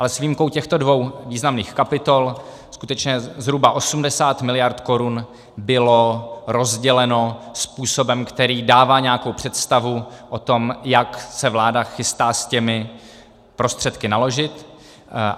Ale s výjimkou těchto dvou významných kapitol skutečně zhruba 80 miliard korun bylo rozděleno způsobem, který dává nějakou představu o tom, jak se vláda chystá s těmi prostředky naložit.